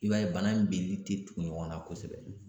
I b'a ye bana in binni tɛ tugu ɲɔgɔnna kosɛbɛ.